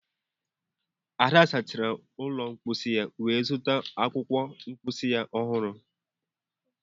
Ada sachara ụlọ mposi wee zụta akwụkwọ mposi ọhụrụ